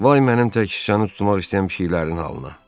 Vay mənim tək şükanı tutmaq istəyən pişiklərinin halına.